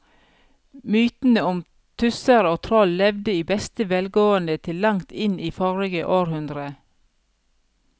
Mytene om tusser og troll levde i beste velgående til langt inn i forrige århundre.